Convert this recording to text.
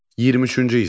23-cü hissə.